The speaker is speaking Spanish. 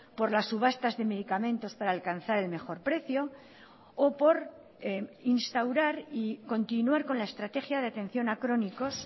por las subastas de medicamentos para alcanzar el mejor precio o por instaurar y continuar con la estrategia de atención a crónicos